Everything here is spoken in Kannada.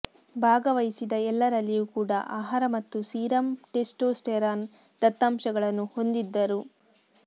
ಭಾಗವಹಿಸಿದ ಎಲ್ಲರಲ್ಲಿಯೂ ಕೂಡ ಆಹಾರ ಮತ್ತು ಸೀರಮ್ ಟೆಸ್ಟೋಸ್ಟೆರಾನ್ ದತ್ತಾಂಶಗಳನ್ನು ಹೊಂದಿದ್ದರು